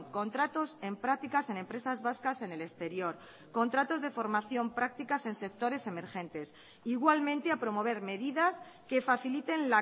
contratos en prácticas en empresas vascas en el exterior contratos de formación prácticas en sectores emergentes igualmente a promover medidas que faciliten